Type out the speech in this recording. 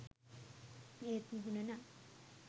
ඒත් මුහුණ නම්